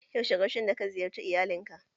Yaushe karshen da ka ziyarce iyalin ka?